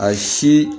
A si